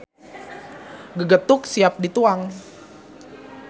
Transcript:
Gegetuk siap dituang.